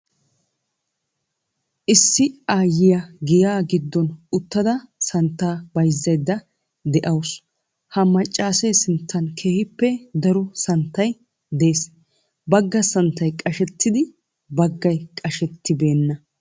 Issi aayyiya giyaa giddon uttada santtaa bayzzaydda de'awusu. Ha maccaasee sinttan keehippe daro santtay de'ees. Bagga santtay qashettiin baggay qashettibewnna.